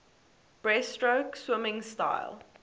breaststroke swimming style